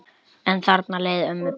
En þarna leið ömmu best.